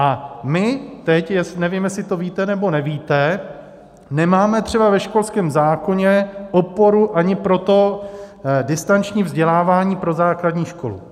A my teď, nevím, jestli to víte, nebo nevíte, nemáme třeba ve školském zákoně oporu ani pro to distanční vzdělávání pro základní školy.